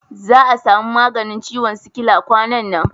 Za a samu maganin ciwon sikila kwanan nan.